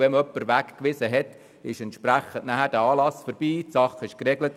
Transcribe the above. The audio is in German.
Wenn man jemanden weggewiesen hat, ist der Anlass vorbei, die Sache ist geregelt.